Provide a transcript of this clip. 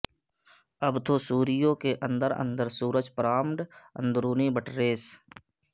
ابتو سوریو کے اندر اندر سورج پرامڈ اندرونی بٹریس